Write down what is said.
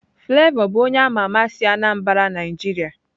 Flavor bụ onye ama ama si Anambra Nigeria.